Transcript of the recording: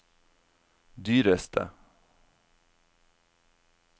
dyreste